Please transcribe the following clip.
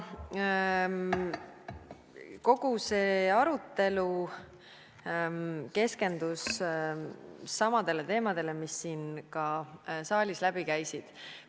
Kogu see arutelu keskendus samadele teemadele, mis ka siit saalis läbi käisid.